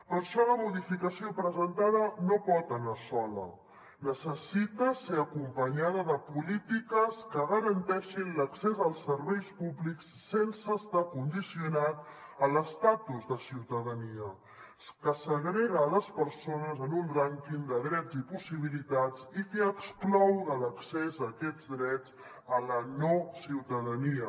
per això la modificació presentada no pot anar sola necessita ser acompanyada de polítiques que garanteixin l’accés als serveis públics sense estar condicionat a l’estatus de ciutadania que segrega les persones en un rànquing de drets i possibilitats i que exclou de l’accés a aquests drets la no ciutadania